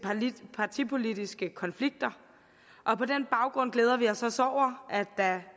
partipolitiske konflikter og på den baggrund glæder vi os at der